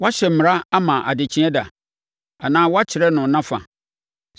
“Woahyɛ mmara ama adekyeeɛ da? Anaa woakyerɛ no nʼafa,